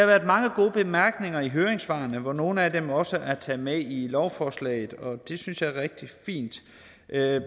været mange gode bemærkninger i høringssvarene hvor nogle af dem også er taget med i lovforslaget og det synes jeg er rigtig fint